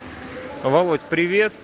володь привет